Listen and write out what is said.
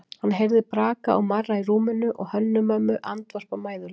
Hann heyrði braka og marra í rúminu og Hönnu-Mömmu andvarpa mæðulega.